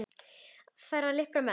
Í hana fara liprir menn.